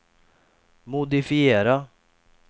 modifiera